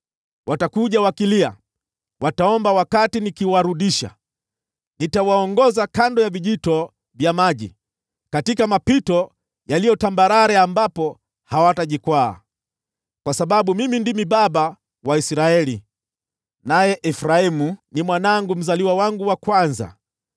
Watakuja wakilia; wataomba wakati ninawarudisha. Nitawaongoza kando ya vijito vya maji katika mapito yaliyo tambarare ambapo hawatajikwaa, kwa sababu mimi ndimi baba wa Israeli, naye Efraimu ni mzaliwa wangu wa kwanza.